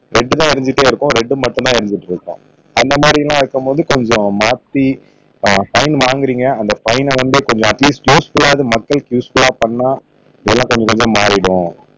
red தான் எறிஞ்சிக்கிட்டு இருக்கும் ரெட்டு மட்டும் தான் எறிஞ்சிக்கிட்டு இருக்கும் அந்தமாதிரி எல்லாம் இருக்கும் போது கொஞ்சம் மாத்தி ஆஹ் ஃபைன் வாங்குறீங்க அந்த ஃபைன வந்து கொஞ்சம் அட்லீஸ்ட் கோஸ்ட்டையாவது மக்களுக்கு யூஸ் புள்ளா பண்ணினா இதெல்லாம் கொஞ்சம் கொஞ்சம் மாறிடும்